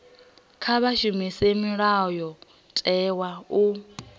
kha vha shumise mulayotewa u